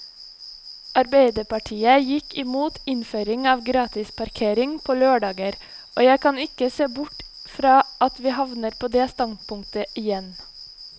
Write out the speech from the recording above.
Arbeiderpartiet gikk imot innføring av gratisparkering på lørdager, og jeg kan ikke se bort fra at vi havner på det standpunktet igjen.